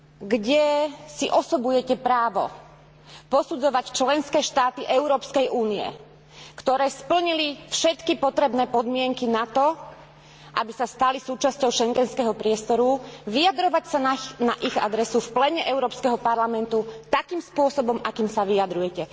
kde si osobujete právo posudzovať členské štáty Európskej únie, ktoré splnili všetky potrebné podmienky na to, aby sa stali súčasťou schengenského priestoru, vyjadrovať sa na ich adresu v pléne Európskeho parlamentu takým spôsobom, akým sa vyjadrujete?